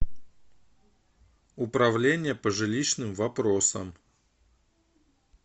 управление по жилищным вопросам